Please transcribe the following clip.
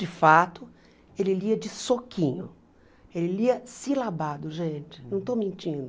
De fato, ele lia de soquinho, ele lia silabado, gente, não estou mentindo.